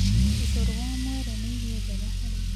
Ũcũrũ wa mwere nĩ irio njega harĩ